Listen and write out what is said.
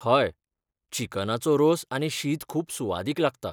हय, चिकनाचो रोस आनी शीत खूब सुवादीक लागता.